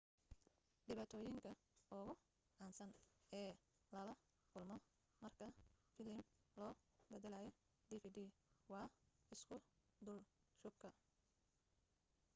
dhibaatooyinka ugu caansan ee lala kulmo marka filim loo baddalayo dvd waa isku dulshubka